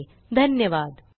सहभागासाठी धन्यवाद